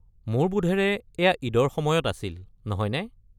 মোৰ বোধেৰে এয়া ঈদৰ সময়ত আছিল? নহয়নে?